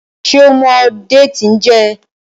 ṣe o mọ Déètì n jé?